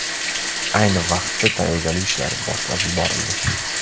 Ayni vaqtda tayyorgarlik ishlari boshlab yuborildi.